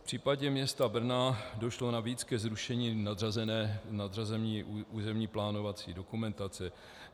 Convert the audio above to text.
V případě města Brna došlo navíc ke zrušení nadřazené územně plánovací dokumentace.